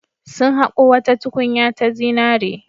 Sun haƙo wata tukunya ta zinare.